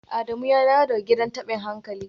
Adamu ya dawo daga gidan tabin hankali?